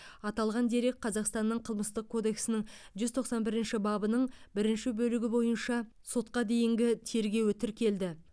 аталған дерек қазақстанның қылмыстық кодексінің жүз тоқсан бірінші бабының бірінші бөлігі бойынша сотқа дейінгі тергеуі тіркелді